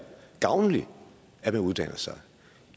gavnligt at man uddanner sig